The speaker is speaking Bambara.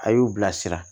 A y'u bila sira